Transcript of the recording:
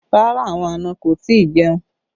Rárá, àwọn àna kò tí ì jẹun